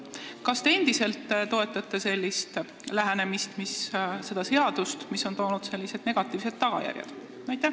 Kas te toetate endiselt sellist lähenemist ja seda seadust, mis on toonud negatiivseid tagajärgi?